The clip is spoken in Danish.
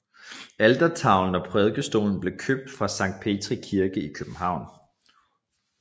Altertavlen og prædikestolen blev købt fra Sankt Petri Kirke i København